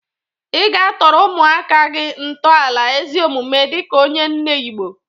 Ị ga-atọrọ ụmụaka gị ntọala ezi omume dịka onye nne Igbo.